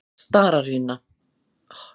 Stararima